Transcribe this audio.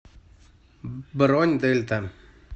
бронь дельта